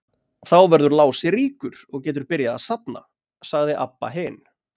Þá verður Lási ríkur og getur byrjað að safna, sagði Abba hin.